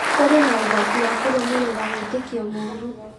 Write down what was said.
Kũrĩ na ũgwati wa kũrũmĩrĩra wĩtĩkio mũũru